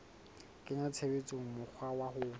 kenya tshebetsong mokgwa wa ho